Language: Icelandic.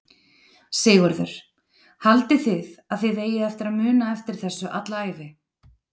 Sigurður: Haldið þið að þið eigið eftir að muna eftir þessu alla ævi?